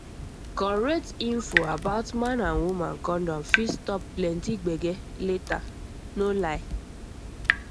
correct info about man and woman condom fit stop plenty gbege later no lie